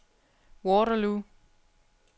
Waterloo